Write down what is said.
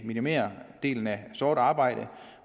minimerer andelen af sort arbejde